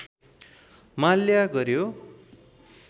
माल्या गर्‍यो